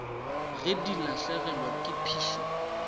ge di lahlegelwa ke phišo